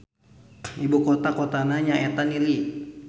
Ibu kotana nyaeta Nili.